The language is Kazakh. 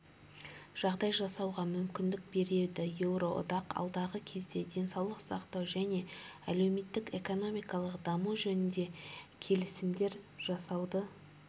жағдай жасауға мүмкіндік береді еуроодақ алдағы кезде денсаулық сақтау және әлеуметтік-экономикалық даму жөнінде келісімдер жасауды